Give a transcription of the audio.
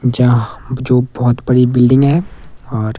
जहाँ जो बहोत बड़ी बिल्डिंग हैं और--